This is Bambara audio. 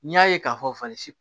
N'i y'a ye k'a fɔ fasi